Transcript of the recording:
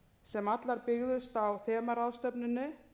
sem allar byggðust á þemaráðstefnunni